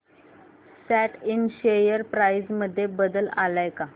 सॅट इंड share price मध्ये बदल आलाय का